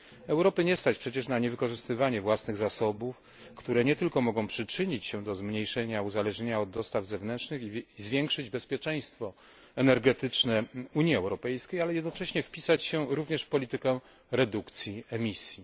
Europy nie stać przecież na niewykorzystywanie własnych zasobów, które nie tylko mogą przyczynić się do zmniejszenia uzależnienia od dostaw zewnętrznych, zwiększyć bezpieczeństwo energetyczne Unii Europejskiej, ale jednocześnie wpisać się również w politykę redukcji emisji.